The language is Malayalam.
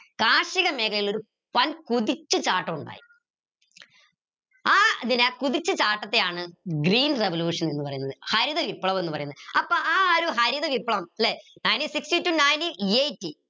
കാർഷിക മേഖലയിൽ ഒരു വൻ കുതിച്ചുചാട്ടം ഉണ്ടായി ആ കുതിച്ചുചാട്ടത്തെയാണ് green revolution എന്ന് പറയുന്നത് ഹരിത വിപ്ലവം ന്ന് പറയുന്നത് അപ്പോ ആ ഒരു ഹരിതവിപ്ലവം ല്ലെ ninteen sixty to ninteen eighty